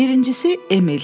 Birincisi, Emil.